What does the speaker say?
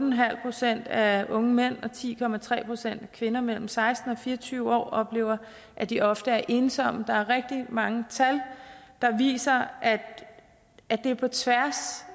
procent af unge mænd og ti procent af kvinder mellem seksten og fire og tyve år oplever at de ofte er ensomme der er rigtig mange tal der viser at det er på tværs